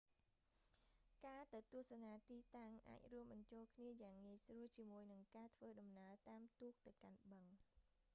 ការទៅទស្សនាទិតាំងអាចរួមបញ្ចូលគ្នាយ៉ាងងាយស្រួលជាមួយនឹងការធ្វើដំណើរតាមទូកទៅកាន់បឹង